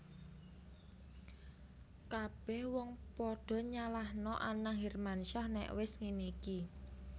Kabeh wong podo nyalahno Anang Hermansyah nek wes ngene iki